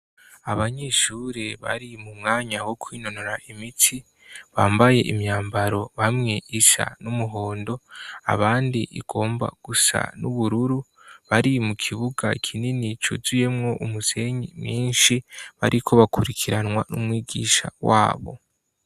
Abanyeshure bari mu mwanya wo kwinonora imitsi bambaye imyambaro bamwe isa n'umuhondo abandi igomba gusa n'ubururu bari mu kibuga kinini cuzuyemwo umusenyi mwinshi bariko bakurikiranwa n'umwigisha wabo.